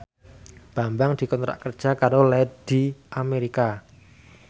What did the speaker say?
Bambang dikontrak kerja karo Lady America